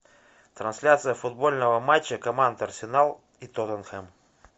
трансляция футбольного матча команд арсенал и тоттенхэм